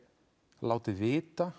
látið vita